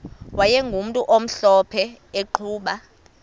wayegumntu omhlophe eqhuba